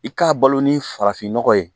I k'a balo ni farafin nɔgɔ ye